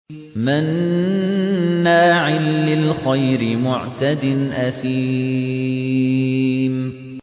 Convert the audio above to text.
مَّنَّاعٍ لِّلْخَيْرِ مُعْتَدٍ أَثِيمٍ